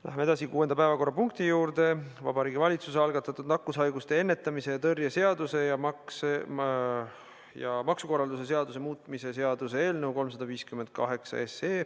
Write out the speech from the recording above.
Läheme edasi kuuenda päevakorrapunkti juurde: Vabariigi Valitsuse algatatud nakkushaiguste ennetamise ja tõrje seaduse ja maksukorralduse seaduse muutmise seaduse eelnõu 358.